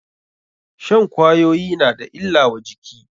Shan kwayoyi na da illa wa jiki.